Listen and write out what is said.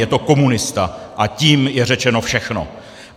Je to komunista a tím je řečeno všechno.